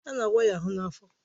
A na-awa ya ahụ n'afọ